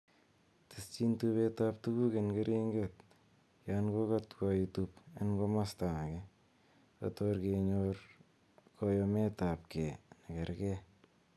Ketyin tubetab tuguk en keringet yon kokotwo itub en komosto age, kotor kenyor koyometab gee nekergee.